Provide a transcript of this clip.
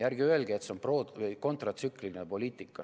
Ärge öelge, et see on kontratsükliline poliitika.